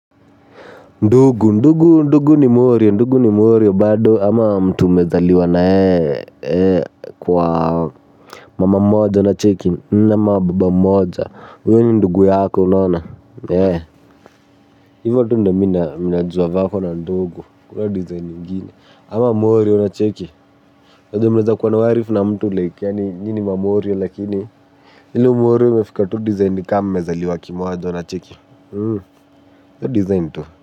Ndugu ndugu ndugu ni morio ndugu ni morio bado ama mtu umezaliwa na yeye kwa mama mmoja unacheki ama baba mmoja huyo ni ndugu yako unaona. Hivyo tu ndiyo mimi najua vako na ndugu hakuna design ingine ama morio unacheki unajua mnaweza kuwa na uarif na mtu like yaani nyinyi ni mamorio lakini ile umorio imefika tu design ni kama mmezaliwa kimoja unacheki hiyo design tu.